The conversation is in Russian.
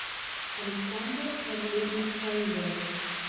александре валерьевне фаизовой